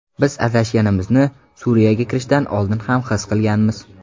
Biz adashganimizni Suriyaga kirishdan oldin ham his qilganmiz.